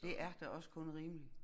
Det er da også kun rimeligt